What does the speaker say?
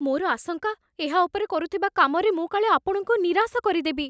ମୋର ଆଶଙ୍କା, ଏହା ଉପରେ କରୁଥିବା କାମରେ ମୁଁ କାଳେ ଆପଣଙ୍କୁ ନିରାଶ କରିଦେବି।